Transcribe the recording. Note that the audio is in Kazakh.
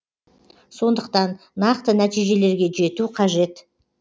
сондықтан нақты нәтижелерге жету қажет